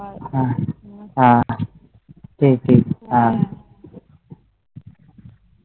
হ্যাঁ ঠিক ঠিক হ্যাঁ